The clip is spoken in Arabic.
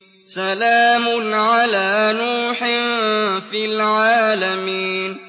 سَلَامٌ عَلَىٰ نُوحٍ فِي الْعَالَمِينَ